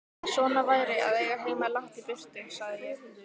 Svona væri að eiga heima langt í burtu, sagði ég.